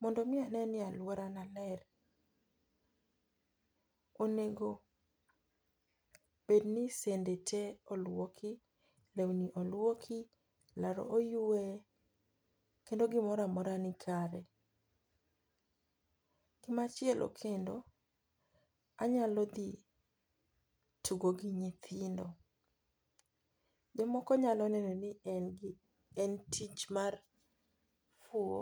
Mondo mi aneni aluora na ler , onego bed ni sende te oluoki, l, lweni oluoki, aro oywe kendo gimoro amora ni kare. machiele kendo, anyalo dhi tugo gi nyithindo. jomoko nyalo neno ni en tich mar huo